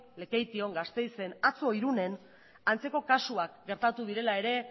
lekeition gasteizen atzo irunen antzeko kasuak gertatu direla ere